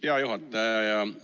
Hea juhataja!